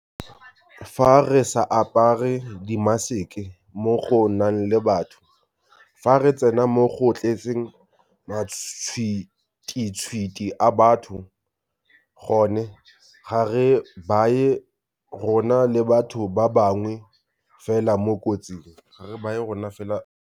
Fa re sa apare dimaseke mo go nang le batho, fa re tsena mo go tletseng matšhwititšhwiti a batho gone, ga re baye rona le batho ba bangwe fela mo kotsing.